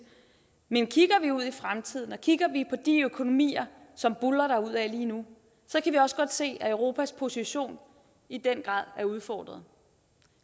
men kigger vi ud i fremtiden og kigger vi på de økonomier som buldrer derudad lige nu så kan vi også godt se at europas position i den grad er udfordret